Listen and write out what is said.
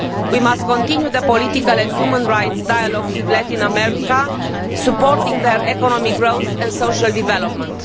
We must continue the political and human rights dialogues with Latin America, supporting their economic growth and social development.